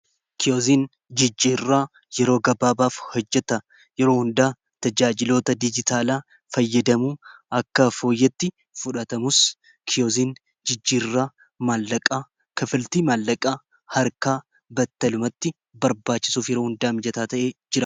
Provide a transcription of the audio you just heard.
Kiyozin jijjiiirraa yeroo gabaabaaf hojjata yeroo hundaa tajaajiloota dijitaalaa fayyadamuu akka fooyyatti fudhatamus kiyozin jijjii irraa maallaqaa kafilti maallaqaa harkaa battalumatti barbaachisuuf yeroo hundaa mijataa ta'ee jira.